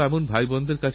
নিরাশহয়ো না হারেতে